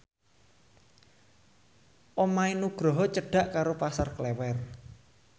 omahe Nugroho cedhak karo Pasar Klewer